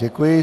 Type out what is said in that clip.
Děkuji.